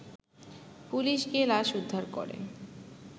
police গিয়ে লাশ উদ্ধার করে